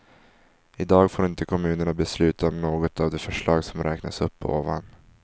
I dag får inte kommunerna besluta om något av de förslag som räknas upp ovan.